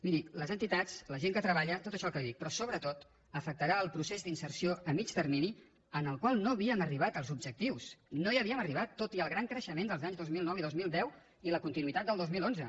miri les entitats la gent que treballa tot això el que li dic però sobretot afectarà el procés d’inserció a mig termini en el qual no havíem arribat als objectius no hi havíem arribat tot i el gran creixement dels anys dos mil nou i dos mil deu i la continuïtat del dos mil onze